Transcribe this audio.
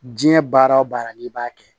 Diɲɛ baara o baara n'i b'a kɛ